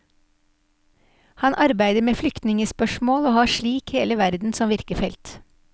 Han arbeider med flyktningespørsmål og har slik hele verden som virkefelt.